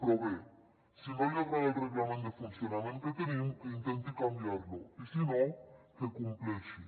però bé si no li agrada el reglament de funcionament que tenim que intenti canviar lo i si no que compleixi